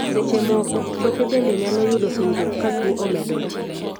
seche moko, choke bende nyalo yudo hinyruok ka tuo omedore